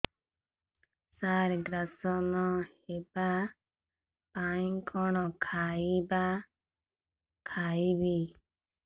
ସାର gas ନ ହେବା ପାଇଁ କଣ ଖାଇବା ଖାଇବି